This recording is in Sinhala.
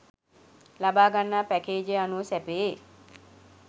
ලබාගන්නා පැකේජය අනුව සැපයේ.